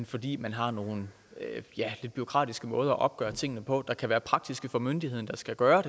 fordi man har nogle lidt bureaukratiske måder at opgøre tingene på det kan være praktisk for myndigheden der skal gøre